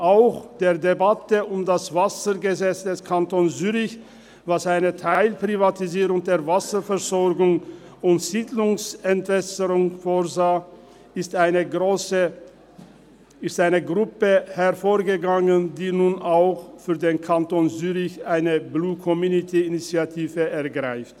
Aus der Debatte über das Wassergesetz des Kantons Zürich, das eine Teilprivatisierung der Wasserversorgung und Siedlungsentwässerung vorsah, ist eine Gruppe hervorgegangen, die nun auch für den Kanton Zürich eine Blue-Community-Initiative ergreift.